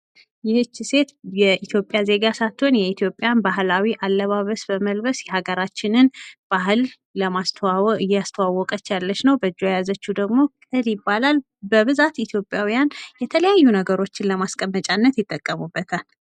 ይቺ ሴት የኢትዮጵያ ዜጋ ሳትሆን የኢትዮጵያን ባህላዊ አለባበስ በመልበስ የሀገራችንን ባህል እያስተዋወቀች ያለች ነው:: በእጇ የያዘችው ደግሞ ቅል ይባላል :: በብዛት ኢትዮጵያውያን የተለያዩ ነገሮች ለማስቀመጫነት ይጠቀሙበታል ::